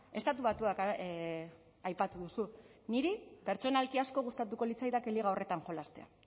estatu batuak aipatu duzu niri pertsonalki asko gustatuko litzaidake liga horretan jolastea